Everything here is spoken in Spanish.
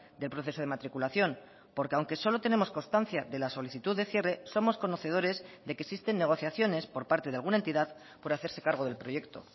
del proceso de matriculación porque aunque solo tenemos constancia de la solicitud de cierre somos conocedores de que existen negociaciones por parte de alguna entidad por hacerse cargo del proyecto